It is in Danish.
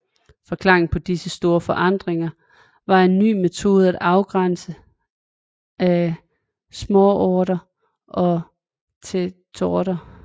Forklaringen på disse store forandringer var en ny metode til afgrænsning af småorter og tätorter